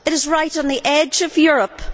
It is right on the edge of Europe.